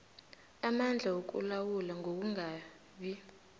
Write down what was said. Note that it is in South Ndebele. amandla wokulawula ngokungabi